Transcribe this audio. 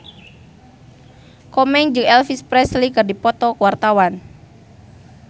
Komeng jeung Elvis Presley keur dipoto ku wartawan